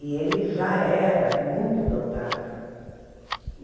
E ele já era muito dotado.